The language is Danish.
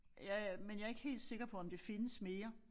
Ja men jeg ikke helt sikker på om det findes mere